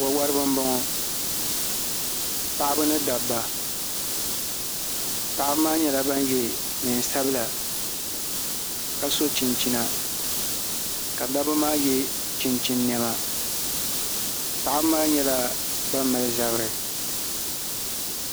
wawariba m-bɔŋɔ paɣaba ni dabba paɣaba maa nyɛla ban ye neen' sabila ka so chinchina ka dabba maa ye chinchini nema paɣaba maa nyɛla ban mali zabiri